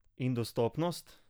In dostopnost?